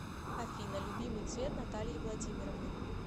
афина любимый цвет натальи владимировны